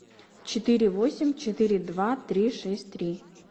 четыре восемь четыре два три шесть три